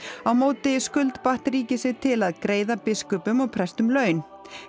á móti skuldbatt ríkið sig til að greiða biskupum og prestum laun